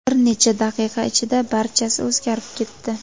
Bir necha daqiqa ichida barchasi o‘zgarib ketdi.